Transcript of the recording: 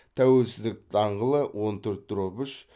тәуелсіздік даңғылы он төрт дробь үш